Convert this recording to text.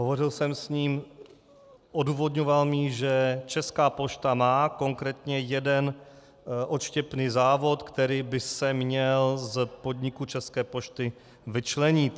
Hovořil jsem s ním, odůvodňoval mi, že Česká pošta má konkrétně jeden odštěpný závod, který by se měl z podniku České pošty vyčlenit.